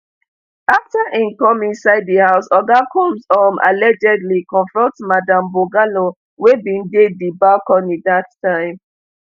afta im come inside di house oga combs um allegedly confront madam bongolan wey bin dey di balcony dat time